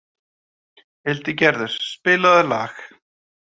Hildigerður, spilaðu lag.